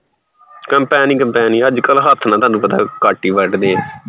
combine ਈ combine, ਹੱਥ ਨਾਲ ਤੁਹਾਨੂੰ ਪਤਾ ਘੱਟ ਈ ਵੱਢਦੇ ਐ ਅੱਜਕਲ